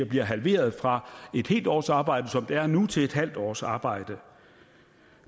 bliver halveret fra et helt års arbejde som det er nu til et halvt års arbejde